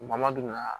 Bamadɔ